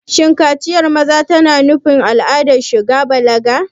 Shin kaciyar maza tana nufin al'adar shiga balaga?